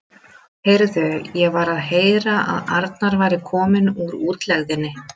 Heyrðu, ég var að heyra að Arnar væri kominn úr útlegðinni.